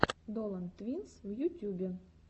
долан твинс в ютюбе